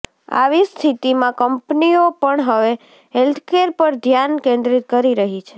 આવી સ્થિતીમાં કંપનીઓ પણ હવે હેલ્થકેર પર ધ્યાન કેન્દ્રિત કરી રહી છે